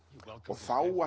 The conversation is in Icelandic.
þá